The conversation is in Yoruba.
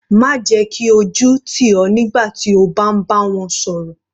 Má jẹ́ kí ojú tì ọ nígbà tí o bá ń bá wọn sọ̀rọ̀.